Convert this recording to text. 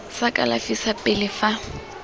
sa kalafi sa pele fa